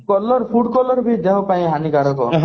color food color ଦେହ ପାଇଁ ହାନିକାରକ